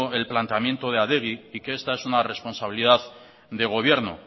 el planteamiento de adegi y que esta es una responsabilidad de gobierno